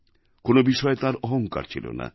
কোনও বিষয়ে তাঁর অহঙ্কার ছিল না